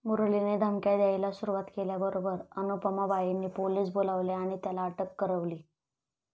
मुरलीने धमक्या द्यायाला सुरूवात केल्याबरोबर अनुपमाबाईंनी पोलीस बोलवले आणि त्याला अटक करवली.